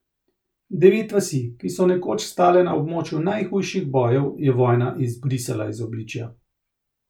Devet vasi, ki so nekoč stale na območju najhujših bojev, je vojna izbrisala iz obličja.